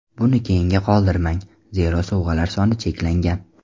Buni keyinga qoldirmang, zero sovg‘alar soni cheklangan.